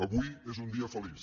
avui és un dia feliç